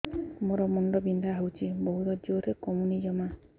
ମୋର ମୁଣ୍ଡ ବିନ୍ଧା ହଉଛି ବହୁତ ଜୋରରେ କମୁନି ଜମା